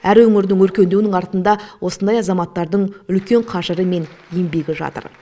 әр өңірдің өркендеуінің артында осындай азаматтардың үлкен қажыры мен еңбегі жатыр